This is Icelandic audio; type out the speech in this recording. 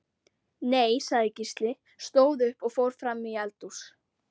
Nei, sagði Gísli, stóð upp og fór fram í eldhús.